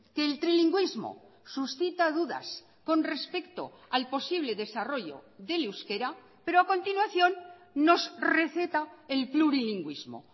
que el trilingüismo suscita dudas con respecto al posible desarrollo del euskera pero a continuación nos receta el plurilingüismo